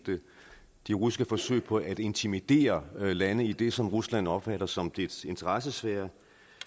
de russiske forsøg på at intimidere lande i det som rusland opfatter som dets interessesfære